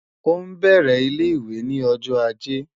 O n bẹrẹ ile-iwe ni ọjọ Aje